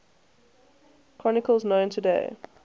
chronicles known today